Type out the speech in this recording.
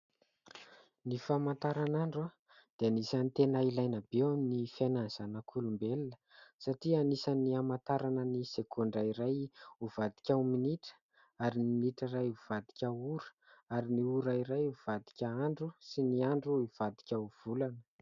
Ny famantaranandro dia anisany tena ilaina be eo amin'ny fiainan'ny zanak'olombelona satria anisan'ny hamantarana ny segondra iray hivadika ho minitra ary ny minitra iray hivadika ho ora ary ny ora iray hivadika andro sy ny andro hivadika ho volana.